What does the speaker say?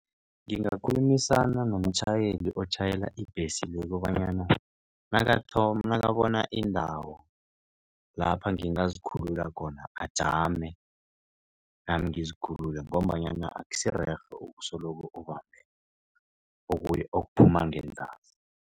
Ngingakhulumisana nomtjhayeli otjhayela ibhesi le kobanyana nakabona iindawo lapha ngingazikhulula khona ajame, nami ngizikhulule ngombanyana akusirerhe ukusoloko ubambe okuphuma ngenzasi.